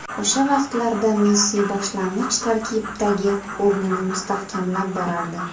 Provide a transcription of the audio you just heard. O‘sha vaqtlarda Messi boshlang‘ich tarkibdagi o‘rnini mustahkamlab borardi.